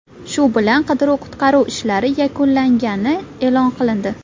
Shu bilan qidiruv-qutqaruv ishlari yakunlangani e’lon qilindi.